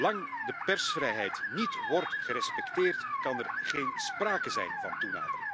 Zolang de persvrijheid niet wordt gerespecteerd, kan er geen sprake zijn van toenadering.